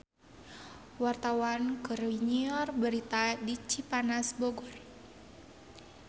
Wartawan keur nyiar berita di Cipanas Bogor